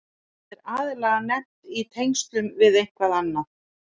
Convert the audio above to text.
Það er aðallega nefnt í tengslum við eitthvað annað.